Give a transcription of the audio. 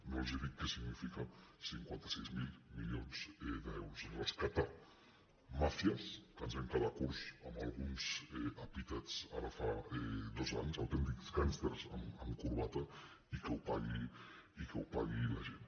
no els dic què signifiquen cinquanta sis mil mili·ons d’euros rescatar màfies que ens vam quedar curts amb alguns epítets ara fa dos anys autèntics gàng·sters amb corbata i que ho pagui la gent